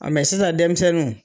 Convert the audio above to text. sisan denmisɛnnu